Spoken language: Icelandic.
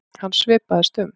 Hann svipaðist um.